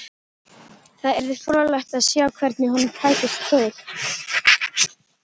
Það yrði fróðlegt að sjá hvernig honum tækist til.